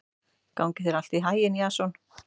Gangi þér allt í haginn, Jason.